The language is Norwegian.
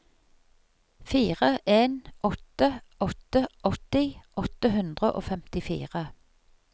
fire en åtte åtte åtti åtte hundre og femtifire